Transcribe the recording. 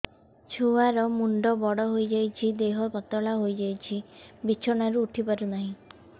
ଛୁଆ ର ମୁଣ୍ଡ ବଡ ହୋଇଯାଉଛି ଦେହ ପତଳା ହୋଇଯାଉଛି ବିଛଣାରୁ ଉଠି ପାରୁନାହିଁ